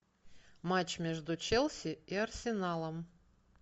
матч между челси и арсеналом